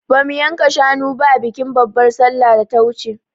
Ba mu yanka shanu ba a bikin babar sallan da ta wuce